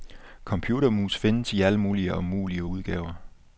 Computermus findes i alle mulige og umulige udgaver.